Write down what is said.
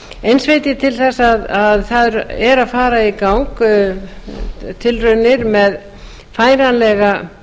eins veit ég til þess að það er að fara í gang tilraunir með færanlega